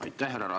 Aitäh!